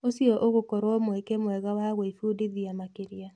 ũcio ũgũkorwo mweke mwegawa gwĩbundithia makĩria.